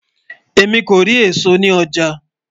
èmi kò rí èsó ní ọjà